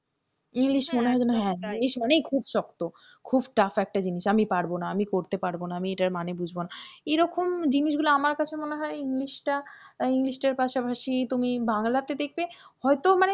english মনে হয় যেনো হ্যাঁ english মানেই খুব শক্ত খুব tough একটা জিনিস আমি পারবো না, আমি করতে পারবো না আমি এটার মানে বুঝবো না এরকম জিনিসগুলো আমার কাছে মনে হয় english টা english টার পাশাপাশি তুমি বাংলাতে দেখবে হয়তো মানে,